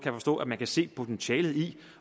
at man kan se potentialet i